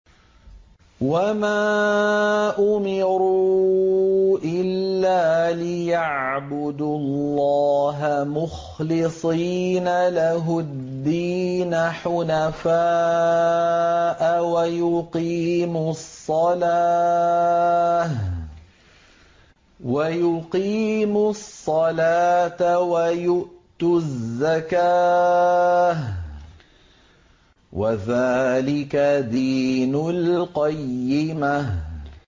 وَمَا أُمِرُوا إِلَّا لِيَعْبُدُوا اللَّهَ مُخْلِصِينَ لَهُ الدِّينَ حُنَفَاءَ وَيُقِيمُوا الصَّلَاةَ وَيُؤْتُوا الزَّكَاةَ ۚ وَذَٰلِكَ دِينُ الْقَيِّمَةِ